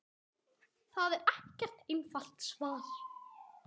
Það er ekkert einfalt svar.